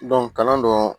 kalan dɔn